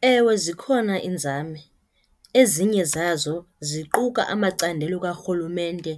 Ewe, zikhona iinzame. Ezinye zazo ziquka amacandelo karhulumente